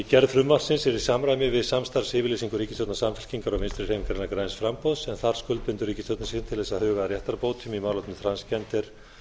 gerð frumvarpsins er í samræmi við samstarfsyfirlýsingu ríkisstjórnar samfylkingar og vinstri hreyfingarinnar græns framboðs en þar skuldbindur ríkisstjórnin sig til að huga að réttarbótum í málefni transgender